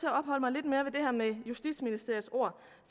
jeg her med justitsministeriets ord